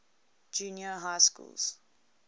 junior high schools